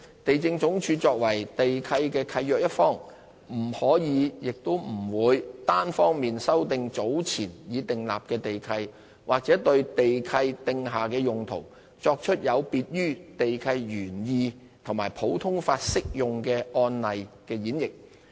地政總署作為地契的契約一方，不可亦不會單方面修訂早前已訂立的地契，或對地契訂下的用途作出有別於地契原意和普通法適用案例的演繹。